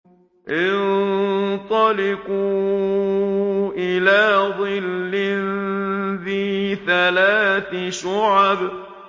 انطَلِقُوا إِلَىٰ ظِلٍّ ذِي ثَلَاثِ شُعَبٍ